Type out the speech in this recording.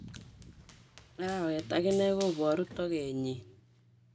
Arawet akine kuporu tokeet nyiin.